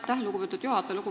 Aitäh, lugupeetud juhataja!